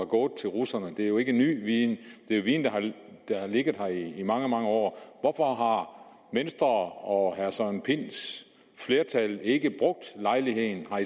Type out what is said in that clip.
gået til russerne det er jo ikke ny viden det er viden der har ligget her i mange mange år hvorfor har venstre og herre søren pinds flertal ikke brugt lejligheden har